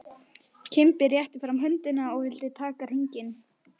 Kimbi rétti fram höndina og vildi taka hringinn.